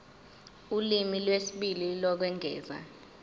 ulimi lwesibili lokwengeza